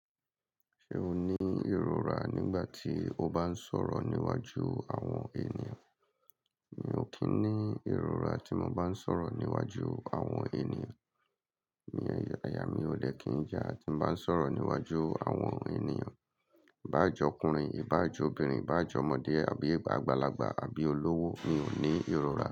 Ṣé o ní ìrora nígbà tí o bá ń sọ̀rọ̀ níwájú àwọn ènìyàn? Mi ò kí ń ní ìrora tí mo bá ń sọ̀rọ̀ níwájú àwọn ènìyàn. Àyà mi ò dè kí ń jà tí mo bá ń sọ̀rọ̀ níwájú àwọn ènìyàn. Ibá à je ọkùnrin, ibá à je obìnrin, ibá je ọmọdé àbí àgbàlagbà, àbí olówó, mi ò ní ìrora.